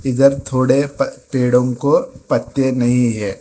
इधर थोड़े प पेड़ों को पत्ते नहीं है।